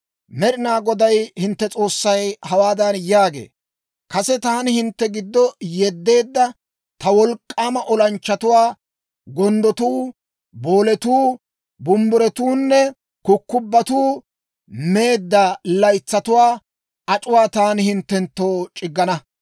Med'inaa Goday hintte S'oossay hawaadan yaagee; «Kase taani hintte giddo yeddeedda, ta wolk'k'aama olanchchatuwaa, gonddotuu, booletuu, bumbburotuunne kukkubbotu meedda laytsatuwaa ac'uwaa taani hinttenttoo c'iggana.